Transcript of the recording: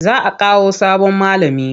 Za a Kawo sabon malami.